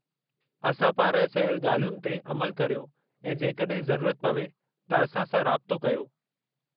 असां पारां चयल ॻाल्हियुनि ते अमलु करियो ऐं जेकड॒हिं ज़रुरत पवे त असां सां राबितो कयो।